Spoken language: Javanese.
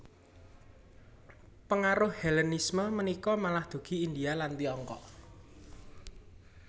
Pengaruh Hellenisme punika malah dugi India lan Tiongkok